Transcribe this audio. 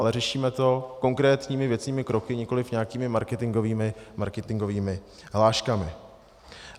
Ale řešíme to konkrétními věcnými kroky, nikoliv nějakými marketingovými hláškami.